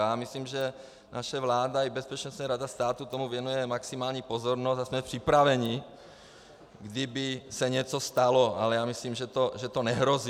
Já myslím, že naše vláda i Bezpečnostní rada státu tomu věnují maximální pozornost a jsme připraveni, kdyby se něco stalo, ale já myslím, že to nehrozí.